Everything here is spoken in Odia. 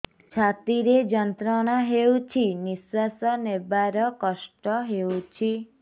ଛାତି ରେ ଯନ୍ତ୍ରଣା ହେଉଛି ନିଶ୍ଵାସ ନେବାର କଷ୍ଟ ହେଉଛି